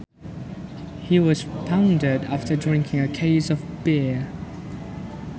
He was pounded after drinking a case of beer